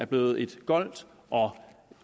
blevet et goldt og